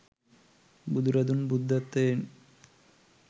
බුදුරදුන් බුද්ධත්වයෙන්